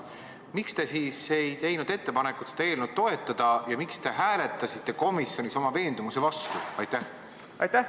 Miks te siis ei teinud ettepanekut seda eelnõu toetada ja miks te hääletasite komisjonis oma veendumuse vastu?